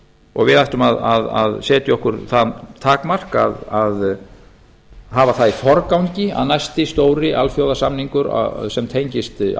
og við ættum að setja okkur það takmark að hafa það í forgangi að næsti stóri alþjóðasamningur sem tengist